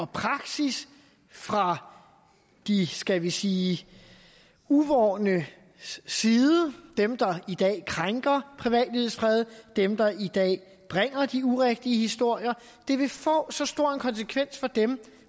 praksis fra de skal vi sige uvornes side dem der i dag krænker privatlivets fred dem der i dag bringer de urigtige historier det vil få så stor en konsekvens for dem